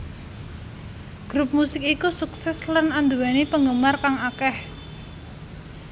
Grup musik iku sukses lan anduweni penggemar kang akeh